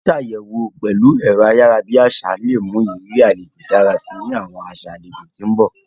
Sísàyẹwo pẹ̀lu ẹ̀ro ayara bi àsá le mu ìrírí alejo dára si ni àwọn aṣa alejò ti n bọ.